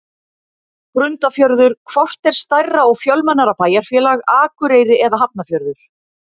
Grundarfjörður Hvort er stærra og fjölmennara bæjarfélag, Akureyri eða Hafnarfjörður?